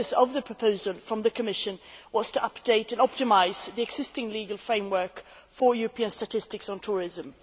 The purpose of the proposal from the Commission was to update and optimise the existing legal framework for European statistics on tourism.